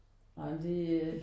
Ej men det er